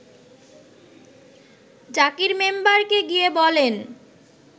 জাকির মেম্বারকে গিয়ে বলেন